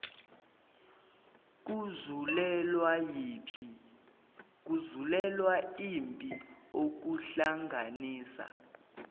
kuzulelwa yimpi okuhlanganisa